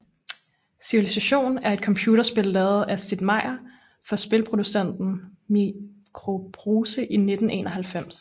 Civilization er et computerspil lavet af Sid Meier for spilproducenten Microprose i 1991